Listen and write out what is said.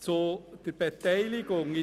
Zur Beteiligung: